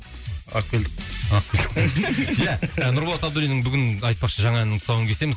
әкелдік ия нұрболат абдуллиннің бүгін айтпақшы жаңа әннің тұсауын кесеміз